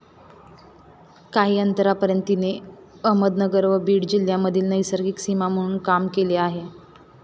काही अंतरापर्यंत तिने अहमदनगर व बीड जिल्ह्यामधील नैसर्गिक सीमा म्हणून काम केले आहे.